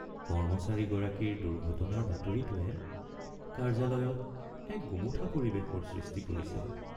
কৰ্মচাৰীগৰাকীৰ দুৰ্ঘটনাৰ বাতৰিটোৱে কাৰ্য্যালয়ত এক গোমোঠা পৰিৱেশৰ সৃষ্টি কৰিছে।